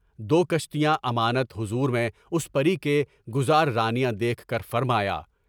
دو کشتیاں امانت حضور میں اس پری کے گزار رانیہ دیکھ کر فرمایا: